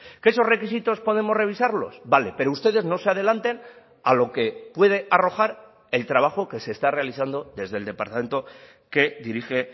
que esos requisitos podemos revisarlos vale pero ustedes no se adelanten a lo que puede arrojar el trabajo que se está realizando desde el departamento que dirige